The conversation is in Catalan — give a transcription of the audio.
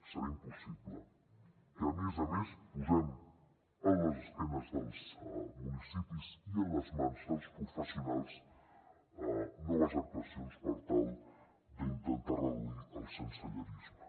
serà impossible que a més a més posem a les esquenes dels municipis i a les mans dels professionals noves actuacions per tal d’intentar reduir el sensellarisme